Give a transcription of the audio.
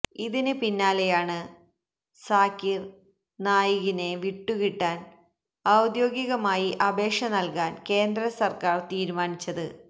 ഇതിന് പിന്നാലെയാണ് സാകിര് നായികിനെ വിട്ടുകിട്ടാന് ഔദ്യോഗികമായി അപേക്ഷ നല്കാന് കേന്ദ്രസര്ക്കാര് തീരുമാനിച്ചത്